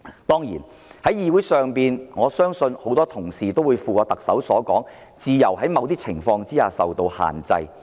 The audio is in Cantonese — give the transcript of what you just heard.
在議會上，我相信很多議員也會附和特首，認同自由在某些情況下應受到限制。